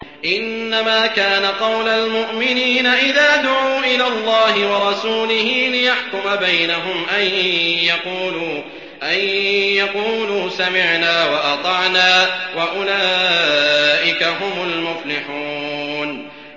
إِنَّمَا كَانَ قَوْلَ الْمُؤْمِنِينَ إِذَا دُعُوا إِلَى اللَّهِ وَرَسُولِهِ لِيَحْكُمَ بَيْنَهُمْ أَن يَقُولُوا سَمِعْنَا وَأَطَعْنَا ۚ وَأُولَٰئِكَ هُمُ الْمُفْلِحُونَ